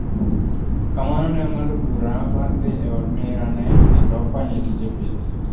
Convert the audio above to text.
Kamano ne ong'ado bura mar dhi e od nera ne kendo konye e tije pith